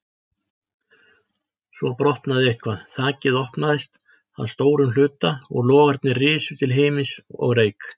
Svo brotnaði eitthvað, þakið opnaðist að stórum hluta, logarnir risu til himins og reyk